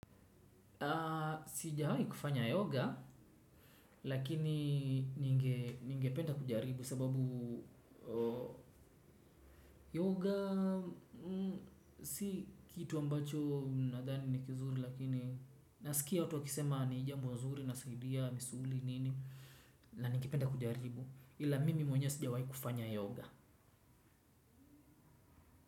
Sijawahi kufanya yoga lakini ningependa kujaribu sababu yoga si kitu ambacho nadhani ni kizuri lakini nasikia watu wakisema ni jambo zuri inasaidia misuli nini na ningependa kujaribu ila mimi mwenye sijawahi kufanya yoga.